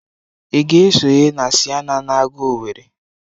Ị ga-esonye na Siena na aga Owere?